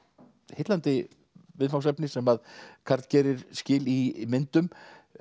heillandi viðfangsefni sem Karl gerir skil í myndum